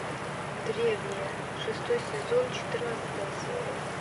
древние шестой сезон четырнадцатая серия